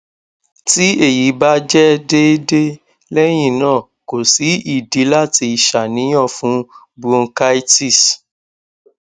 ti eyi ba jẹ deede lẹhinna ko si idi lati ṣàníyàn fun bronchitis